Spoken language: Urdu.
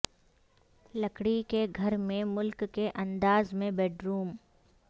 لکڑی کے گھر میں ملک کے انداز میں بیڈروم